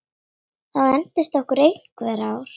Það entist okkur einhver ár.